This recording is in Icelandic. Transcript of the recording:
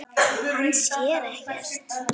Hann sér ekkert.